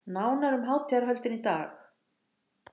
Nánar um hátíðarhöldin í dag